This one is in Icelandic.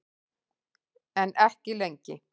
En ekki lengi.